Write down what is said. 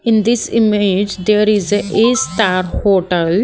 In this image there is a a star hotel.